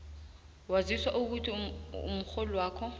waziswa ukuthi umrholwakho